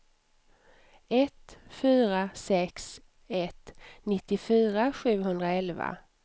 ett fyra sex ett nittiofyra sjuhundraelva